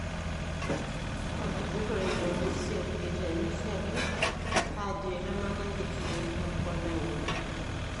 Olajuroni le Urusi eitenikiaki ajo eitamanayie ikiek opona engolon.